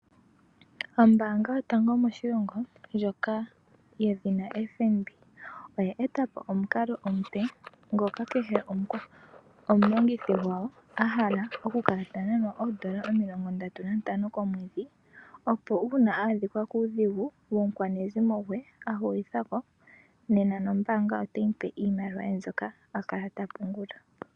Ombaanga yotango moshilongo ndjoka yedhina FNB oya etapo omukalo omupe, ngoka kehe omulongithi gwayo a hala okukala ta nanwa oondola 35 komwedhi, opo uuna a adhikwa kuudhigu womukwanezimo gwe a hulithako, nena nombaanga otayi mu pe iimaliwa ye mbyoka a kala ta pungula.